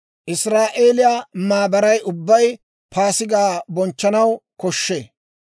Israa'eeliyaa maabaray ubbay Paasigaa bonchchanaw koshshee.